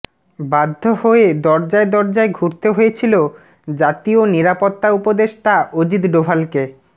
বাধ্য হয়ে দরজায় দরজায় ঘুরতে হয়েছিল জাতীয় নিরাপত্তা উপদেষ্টা অজিত ডোভালকে